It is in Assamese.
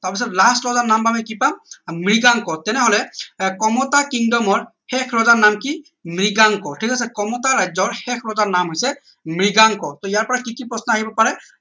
তাৰ পিছত last ৰজা নাম আমি কি পাম মৃগাংক তেনেহলে আহ কমতা kingdom ৰ শেষ ৰজাৰ নাম কি মৃগাংক ঠিক আছে কমতা ৰাজ্যৰ শেষ ৰজাৰ নাম হৈছে মৃগাংক টৌ ইয়াৰ পৰা কি কি প্ৰশ্ন আহিব পাৰে